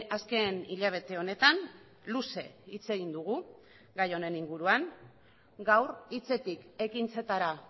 azken hilabete honetan luze hitz egin dugu gai honen inguruan gaur hitzetik ekintzetara